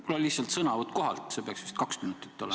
Mul on lihtsalt sõnavõtt kohalt, see peaks vist kaks minutit olema.